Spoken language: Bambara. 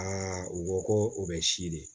u ko ko o bɛ si de ye